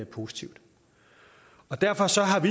positivt derfor